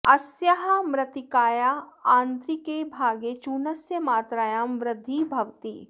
अस्याः मृत्तिकायाः आन्तरिके भागे चूर्णस्य मात्रायां वृद्धिः भवति